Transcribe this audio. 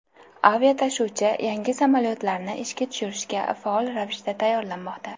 Aviatashuvchi yangi samolyotlarni ishga tushirishga faol ravishda tayyorlanmoqda.